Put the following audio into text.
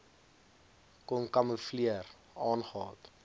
kon kamoefleer aangehad